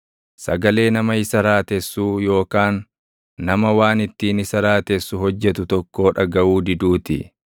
sagalee nama isa raatessuu yookaan nama waan ittiin isa raatessu hojjetu tokkoo dhagaʼuu diduu ti.